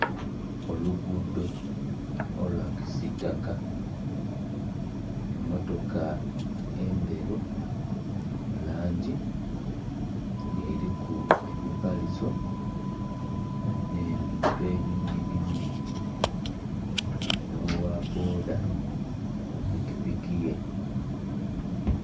Olugudo olwa kisitaka, emmotoka endheru mulangi nga eliku emipaliso n'ebintu ebindhi bindhi nho gha bboda ku pikipiki ye.